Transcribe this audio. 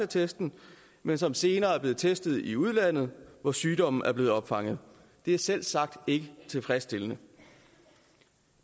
testen men som senere er blevet testet i udlandet hvor sygdommen er blevet opfanget det er selvsagt ikke tilfredsstillende